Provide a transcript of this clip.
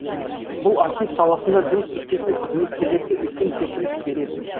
бұл архив саласында жұмыс істейтін қызметкерлерге үлкен серпіліс береді